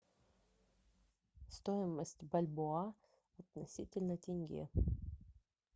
стоимость бальбоа относительно тенге